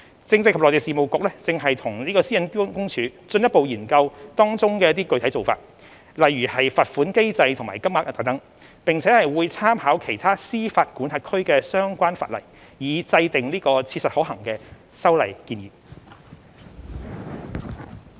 政制及內地事務局正與私隱公署進一步研究當中的具體做法，如罰款機制及金額等，並會參考其他司法管轄區的相關法例，以制訂切實可行的修例建議。